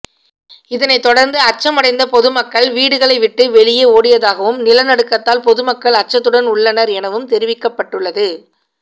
இதனைத் தொடர்ந்து அச்சமடைந்த பொதுமக்கள் வீடுகளை விட்டு வெளியெ ஓடியதாகவும் நில நடுக்கத்தால் பொதுமக்கள் அச்சத்துடன் உள்ளனர் எனவும் தெரிவிக்கப்பட்டுள்ளது